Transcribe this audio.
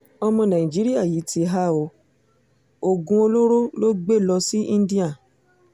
ọmọ nàìjíríà yìí ti há ọ oògùn olóró ló gbé lọ sí íńdíà